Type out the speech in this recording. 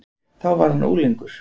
Þá var hann unglingur.